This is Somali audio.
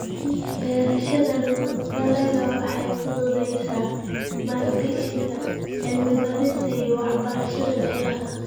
Beerashada dalaggu waxay fududaysaa maalgashiga cilmi baarista iyo waxbarashada beeraha.